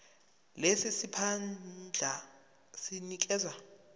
lesi siphandla sinikezwa